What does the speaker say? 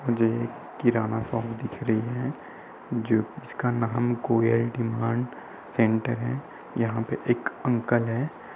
जो एक किराना शॉप दिख रही है जो जिसका नाम गोयल डिमांड सेंटर है। यहाँ पे एक अन्कल है।